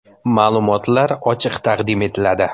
Ma’lumotlar ochiq taqdim etiladi.